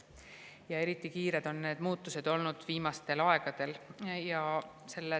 Ja eriti kiired on need muutused olnud viimastel aegadel.